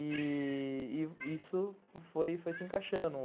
E... isso foi se encaixando.